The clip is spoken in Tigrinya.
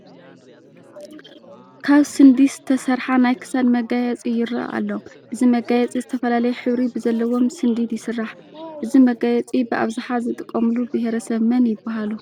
ካብ ስንዲስ ዝተሰርሓ ናይ ክሳድ መጋየፂ ይርአ ኣሎ፡፡ እዚ መጋየፂ ዝተፈላለየ ሕብሪ ብዘለዎም ስንዲድ ይስራሕ፡፡ እዚ መጋየፂ ብኣብዝሓ ዝጥቀሙሉ ብሄረሰብ መን ይበሃሉ?